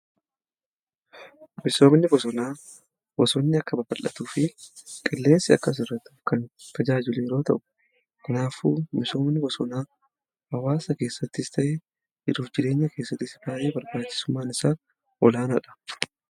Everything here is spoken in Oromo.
Biqiloonni bosonaa bosonni akka babal'atuu fi qilleensi akka hir'atuuf kan tajaajilu yeroo ta'u, kanaafuu misoomni bosonaa hawaasa keessattis ta'ee jiruuf jireenya keessattis baay'ee barbaachisummaan isaa olaanaadha.